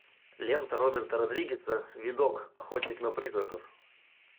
лента роберта родригеса видок охотник на призраков